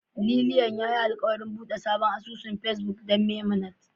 Lianlian yayi alkawarin bude sabon asusun Facebook don Memunant